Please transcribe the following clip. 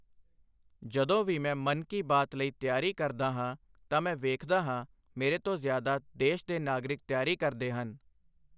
ਜਦੋਂ ਵੀ ਮੈਂ ਮਨ ਕੀ ਬਾਤ ਲਈ ਤਿਆਰੀ ਕਰਦਾ ਹਾਂ ਤਾਂ ਮੈਂ ਵੇਖਦਾ ਹਾਂ ਮੇਰੇ ਤੋਂ ਜ਼ਿਆਦਾ ਦੇਸ਼ ਦੇ ਨਾਗਰਿਕ ਤਿਆਰੀ ਕਰਦੇ ਹਨ।